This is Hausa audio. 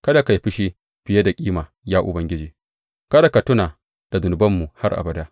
Kada ka yi fushi fiye da kima, ya Ubangiji; kada ka tuna da zunubanmu har abada.